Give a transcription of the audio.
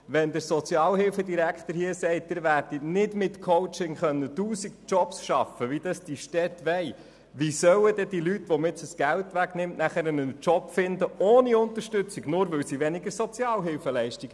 Wenn der Sozialhilfedirektor sagt, mit Coaching könnten nicht 1000 Jobs geschaffen werden, wie dies die Städte wollen, wie sollen die Leute, welchen jetzt das Geld weggenommen wird, ohne Unterstützung einen Job finden?